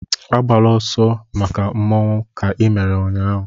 Agbala ọsọ ọzọ make Mmanwu ahụ ka i mere ụnyaahụ!